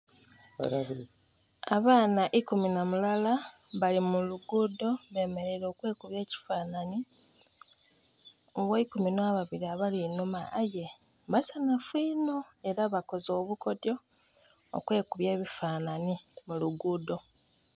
Abaana ikumu nha mulala bali mu lugudho bemereire okwekubya ekifananhi oghe ikumu nha babiri abali inhuma aye basanhufu inho era bakoze obukodhyo okwekubya ebifananhi mu lugudho.